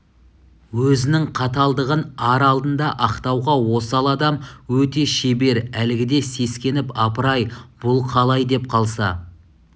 өзінің қаталдығын ар алдында ақтауға осал адам өте шебер әлгіде сескеніп апырай бұл қалай деп қалса